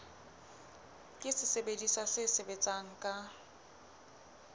ke sesebediswa se sebetsang ka